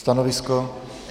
Stanovisko?